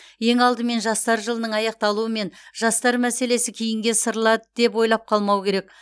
ең алдымен жастар жылының аяқталуымен жастар мәселесі кейінге ысырылады деп ойлап қалмау керек